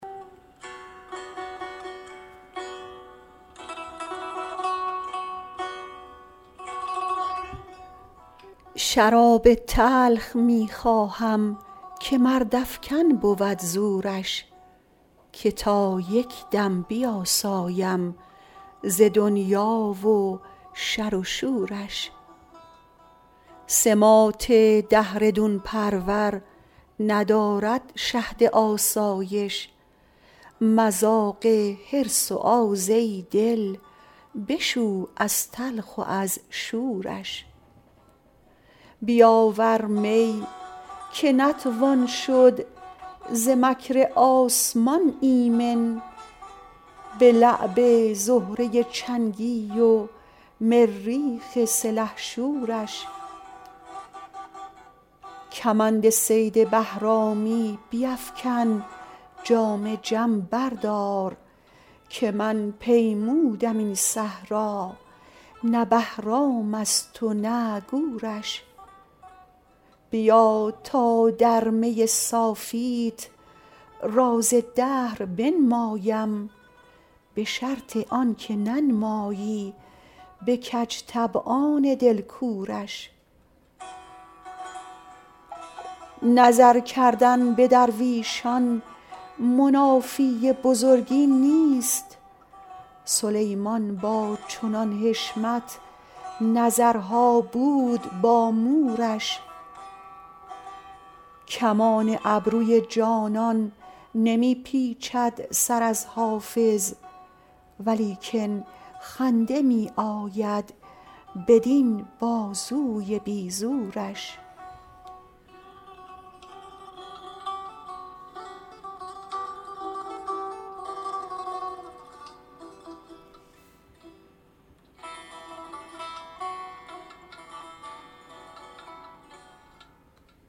شراب تلخ می خواهم که مردافکن بود زورش که تا یک دم بیاسایم ز دنیا و شر و شورش سماط دهر دون پرور ندارد شهد آسایش مذاق حرص و آز ای دل بشو از تلخ و از شورش بیاور می که نتوان شد ز مکر آسمان ایمن به لعب زهره چنگی و مریخ سلحشورش کمند صید بهرامی بیفکن جام جم بردار که من پیمودم این صحرا نه بهرام است و نه گورش بیا تا در می صافیت راز دهر بنمایم به شرط آن که ننمایی به کج طبعان دل کورش نظر کردن به درویشان منافی بزرگی نیست سلیمان با چنان حشمت نظرها بود با مورش کمان ابروی جانان نمی پیچد سر از حافظ ولیکن خنده می آید بدین بازوی بی زورش